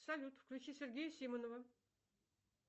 салют включи сергея симонова